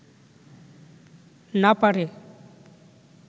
না পারে